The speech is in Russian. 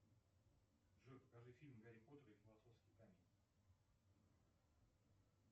джой покажи фильм гарри поттер и философский камень